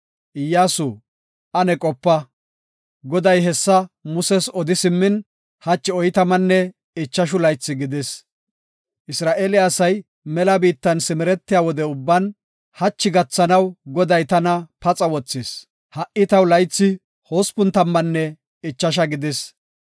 Iyyasu, ane qopa; Goday hessa Muses odi simmin hachi oytamanne ichashu laythi gidis. Isra7eele asay mela biittan simeretiya wode ubban hachi gathanaw Goday tana paxa wothis. Ha77i taw laythi hospun tammanne ichasha gidis.